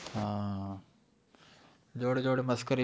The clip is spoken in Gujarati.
હા જોડે જોડે મસ્કરી